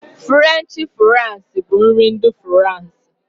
Furenchi furais bụ nri ndị Furansi.